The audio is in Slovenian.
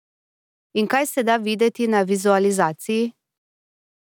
In kaj se da videti na vizualizaciji?